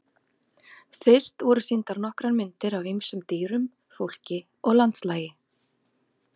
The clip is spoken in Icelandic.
Fyrst voru sýndar nokkrar myndir af ýmsum dýrum, fólki og landslagi.